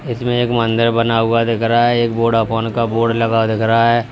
इसमें एक मंदिर बना हुआ दिख रहा है। एक वोडाफोन का बोर्ड लगा हुआ दिख रहा है।